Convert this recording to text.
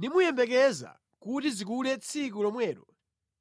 nimuyembekeza kuti zikule tsiku lomwelo